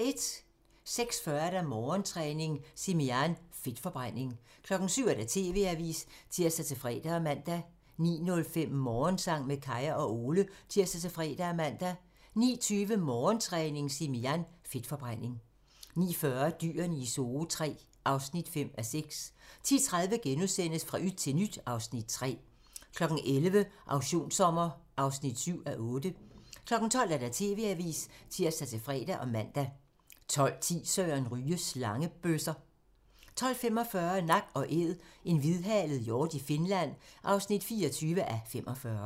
06:40: Morgentræning: Simi Jan - Fedtforbrænding 07:00: TV-avisen (tir-fre og man) 09:05: Morgensang med Kaya og Ole (tir-fre og man) 09:20: Morgentræning: Simi Jan - Fedtforbrænding 09:40: Dyrene i Zoo III (5:6) 10:30: Fra yt til nyt (Afs. 3)* 11:00: Auktionssommer (7:8) 12:00: TV-avisen (tir-fre og man) 12:10: Søren Ryge: Slangebøsser 12:45: Nak & æd - en hvidhalet hjort i Finland (24:45)